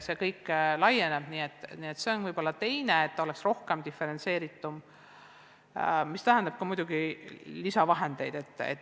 See võiks olla seotud teise kitsaskohaga – see, et õppevara oleks rohkem diferentseeritud, mis muidugi tähendab ka lisavahendeid.